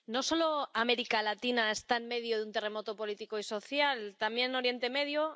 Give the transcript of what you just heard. Señor presidente, no solo América Latina está en medio de un terremoto político y social, también Oriente Medio.